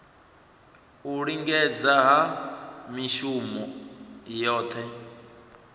u lingedza ha mishongo yohe